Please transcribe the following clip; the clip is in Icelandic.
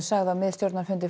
sagði á miðstjórnarfundi